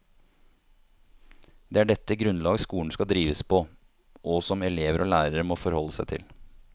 Det er dette grunnlag skolen skal drives på, og som elever og lærere må forholde seg til.